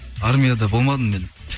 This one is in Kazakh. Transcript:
армияда болмадым мен